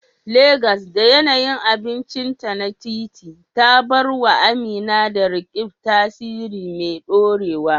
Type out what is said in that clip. Legas, da yanayin abincinta na titi, ya bar wa Amina da Roqeeb tasiri mai dorewa.